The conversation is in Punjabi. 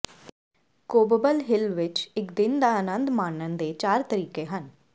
ਕੋਬਬਲ ਹਿੱਲ ਵਿੱਚ ਇੱਕ ਦਿਨ ਦਾ ਅਨੰਦ ਮਾਣਨ ਦੇ ਚਾਰ ਤਰੀਕੇ ਹਨ